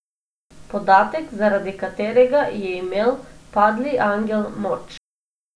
Podatek, zaradi katerega je imel Padli angel moč.